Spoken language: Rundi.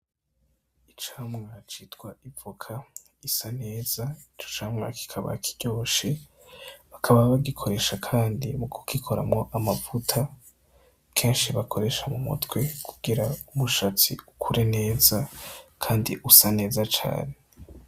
Icamwa citwa ivoka isa neza, ico camwa kikaba kiryoshe. Bakaba bagikoresha kandi mu kugikoramwo amavuta kenshi bakoresha mu mutwe kugira umushatsi ukure neza kandi usa neza cane.